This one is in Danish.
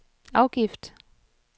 afgift